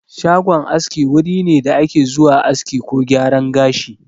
Shagon aski wuri ne da ake zuwa aski ko gyaran gashi.